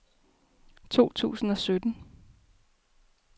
to tusind og sytten